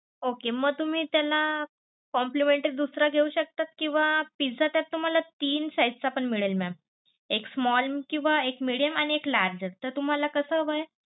Okay म तुम्ही त्याला complimentary दुसरं घेऊ शकता किंवा, पिझ्झा त्यात तुम्हाला तीन size चा पण मिळेल mam एक small किंवा एक medium किंवा एक large असत. तुम्हाला कस हवंय?